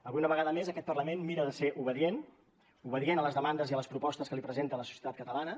avui una vegada més aquest parlament mira de ser obedient obedient a les demandes i a les propostes que li presenta la societat catalana